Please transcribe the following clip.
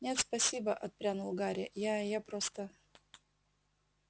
нет спасибо отпрянул гарри я я просто